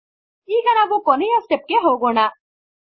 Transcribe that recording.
ಈಗ ನಾವು ಕೊನೆಯ ಸ್ಟೆಪ್ ಗೆ ಹೋಗೋಣ